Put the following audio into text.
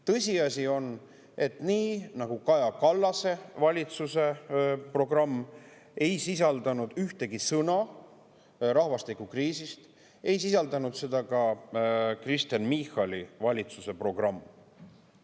Tõsiasi on, et nii nagu Kaja Kallase valitsuse programm ei sisaldanud ühtegi sõna rahvastikukriisist, ei sisaldanud seda ka Kristen Michali valitsuse programm.